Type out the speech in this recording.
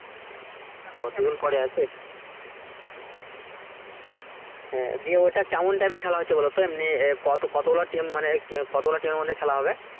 ও হ্যাঁ দিয়ে ওটা কেমন type র খেলা হচ্ছে বলতো? এমনি মানে কত গুলো team কত গুলো team এর মধ্যে খেলা হবে?